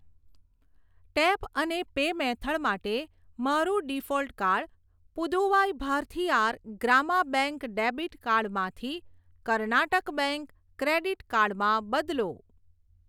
Tap અને pay method માટે મારું default card Puduvai Bharathiar Grama bank debit card માંથી કર્નાટક બેંક ક્રેડીટ કાર્ડ માં બદલો.